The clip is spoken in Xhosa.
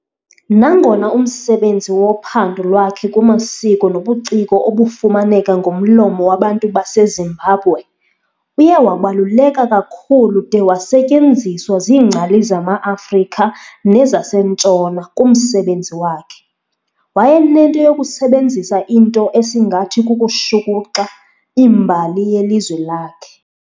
Nangona umsebenzi wophando lwakhe kumasiko nobuciko obufumaneka ngomlomo wabantu baseZimbabwe, uye wabaluleka kakhulu de wasetyenziswa ziingcali zama-Afrika nezaseNtshona, kumsebenzi wakhe, wayenento yokusebenzisa into esingathi kukushukuxa imbali yelizwe lakhe.